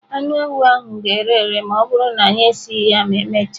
Anụ ewu ahụ ga-ere ere ma ọ bụrụ na anyị esighị ya ma emechaa.